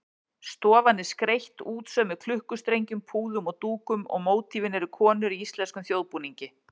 Stofan er skreytt útsaumuðum klukkustrengjum, púðum og dúkum og mótífin eru konur í íslenskum þjóðbúningi.